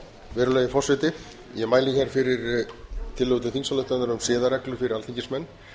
virðulegi forseti ég mæli fyrir tillögu til þingsályktunar um siðareglur fyrir alþingismenn